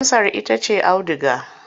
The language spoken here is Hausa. Amsar ita ce auduga.